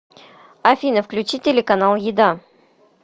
афина включи телеканал еда